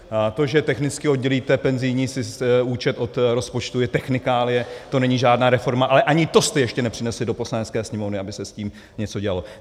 To, že technicky oddělíte penzijní účet od rozpočtu, je technikálie, to není žádná reforma, ale ani to jste ještě nepřinesli do Poslanecké sněmovny, aby se s tím něco dělalo.